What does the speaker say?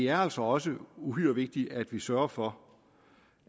er altså også uhyre vigtigt at vi sørger for